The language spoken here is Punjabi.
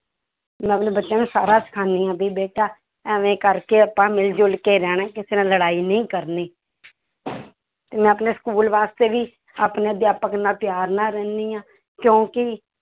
ਮੈਂ ਆਪਣੇ ਬੱਚਿਆਂ ਨੂੰ ਸਾਰਾ ਸਿਖਾਉਂਦੀ ਹਾਂ ਵੀ ਬੇਟਾ ਇਵੇਂ ਕਰਕੇ ਆਪਾਂ ਮਿਲ ਜੁਲ ਕੇ ਰਹਿਣਾ ਹੈ ਕਿਸੇ ਨਾਲ ਲੜਾਈ ਨਹੀਂ ਕਰਨੀ ਤੇ ਮੈਂ ਆਪਣੇ school ਵਾਸਤੇ ਵੀ ਆਪਣੇ ਅਧਿਆਪਕ ਨਾਲ ਪਿਆਰ ਨਾਲ ਰਹਿੰਦੀ ਹਾਂ ਕਿਉਂਕਿ